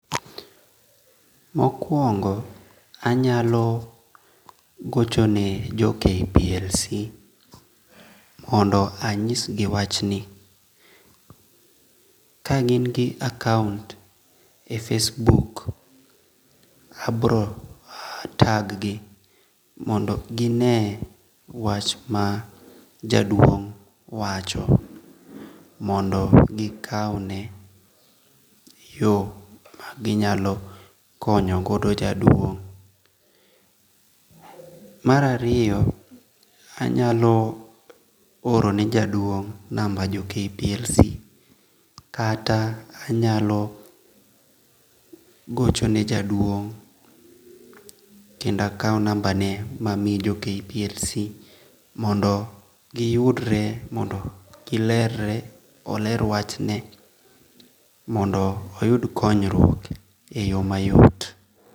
Mokuongo anyalo gochone jo Kplc mondo anyisgi wachni, kagingi account e Facebook abro tag gi mondo gi ne wach mar jaduong' wacho mondo gi kaune yo maginyalo konyo godo jaduong'. Marariyo anyalo orone jaduong number jo Kplc kata anyalo gochone jaduong kendo akau nambane ma mi jo Kplc mondo giyudre mondo gilerre oler wachni mondo oyud konyruok e yo mayot.